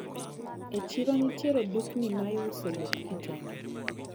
E chiro nitiere dukni maiuse lep kitenge.